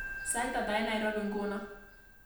Sait ata eng Nairobi nguno